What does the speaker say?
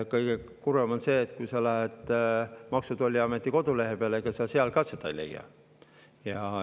Kõige kurvem on see, et kui sa lähed Maksu‑ ja Tolliameti kodulehele, ega sa siis seal ka seda ei leia.